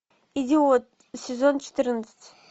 идиот сезон четырнадцать